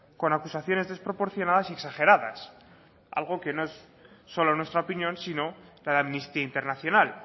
con acusaciones desproporcionadas y exageradas algo que no es solo nuestra opinión sino la de amnistía internacional